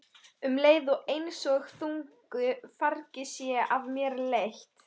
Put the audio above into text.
Um leið er einsog þungu fargi sé af mér létt.